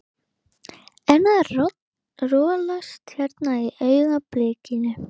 Einn að rolast hérna í augnablikinu.